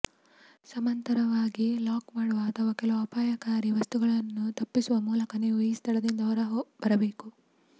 ಸಮಾನಾಂತರವಾಗಿ ಲಾಕ್ ಮಾಡುವ ಅಥವಾ ಕೆಲವು ಅಪಾಯಕಾರಿ ವಸ್ತುಗಳನ್ನು ತಪ್ಪಿಸುವ ಮೂಲಕ ನೀವು ಈ ಸ್ಥಳದಿಂದ ಹೊರಬರಬೇಕು